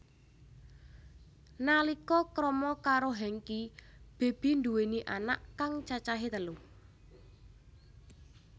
Nalika krama karo Hengky Baby nduweni anak kang cacahe telu